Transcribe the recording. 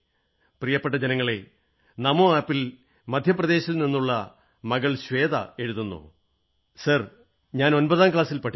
പ്രിയപ്പെട്ട ജനങ്ങളേ നമോ ആപ് ൽ മധ്യപ്രദേശിൽ നിന്നുള്ള മകൾ ശ്വേത എഴുതുന്നു സർ ഞാൻ 9ാം ക്ലാസിൽ പഠിക്കുന്നു